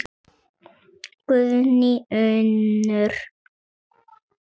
Guðný Unnur.